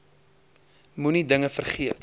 moenie dinge vergeet